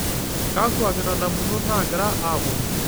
kakua kitadamunot naagira aapuonu